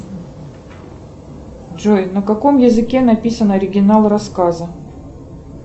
джой на каком языке написан оригинал рассказа